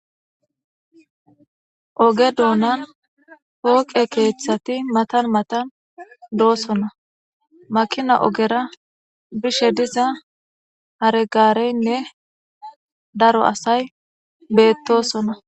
oge doonan pooqe keeththati matan matan doosona makina ogera bishe diza haregareynne daro asay beettosona